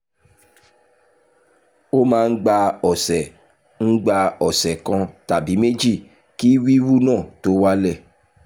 ó máa ń gba ọ̀sẹ̀ ń gba ọ̀sẹ̀ kan tàbí méjì kí wíwú náà tó wálẹ̀